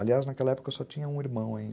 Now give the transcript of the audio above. Aliás, naquela época eu só tinha um irmão ainda.